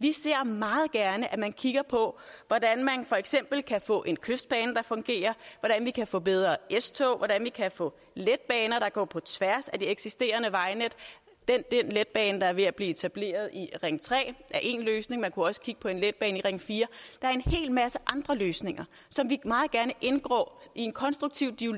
vi ser meget gerne at man kigger på hvordan man for eksempel kan få en kystbane der fungerer hvordan man kan få bedre s tog hvordan man kan få letbaner der går på tværs af de eksisterende vejnet den letbane der er ved at blive etableret i ring tre er én løsning men man kunne også kigge på en letbane i ring fjerde der er en hel masse andre løsninger som vi meget gerne indgår i en konstruktiv